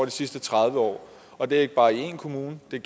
de sidste tredive år og det er ikke bare i én kommune det er